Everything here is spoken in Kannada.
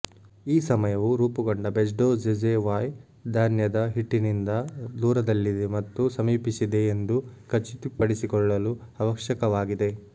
ಈ ಸಮಯವು ರೂಪುಗೊಂಡ ಬೆಜ್ಡೊಝೆಝೆವಾಯ್ ಧಾನ್ಯದ ಹಿಟ್ಟಿನಿಂದ ದೂರದಲ್ಲಿದೆ ಮತ್ತು ಸಮೀಪಿಸಿದೆ ಎಂದು ಖಚಿತಪಡಿಸಿಕೊಳ್ಳಲು ಅವಶ್ಯಕವಾಗಿದೆ